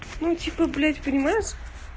ну типа блядь понимаешь